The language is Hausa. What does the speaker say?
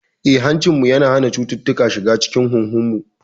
Eh, hancinmu yana hana cututtuka shiga cikin huhunmu.